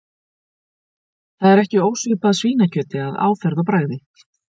Það er ekki ósvipað svínakjöti að áferð og bragði.